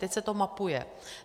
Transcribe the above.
Teď se to mapuje.